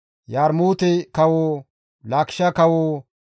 Yarmuute kawo, Laakishe kawo,